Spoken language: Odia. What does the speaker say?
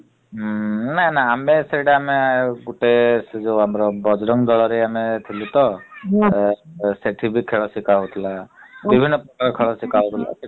ଉଁ ନା ନା ଆମେ ସେଇଟା ଆମେ ଆଉ ଗୋଟେ ସେ ଯଉ ଆମର ବଜରଙ୍ଗ ଦଳରେ ଆମେ ଥିଲୁ ତ ଆଉ ସେଠି ବି ଖେଳ ଶିଖାଯାଉଥିଲା ବିଭିନ୍ନ ପ୍ରକାର ଖେଳ ଶିଖା ହଉଥିଲା ସେଠି ।